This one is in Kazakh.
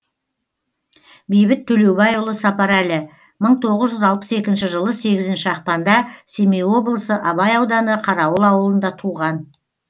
бейбіт төлеубайұлы сапарәлі мың тоғыз жүз алпыс екінші жылы сегізінші ақпанда семей облысы абай ауданы қарауыл ауылында туған